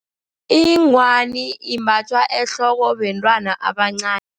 Ingwani imbathwa ehloko bantwana abancani.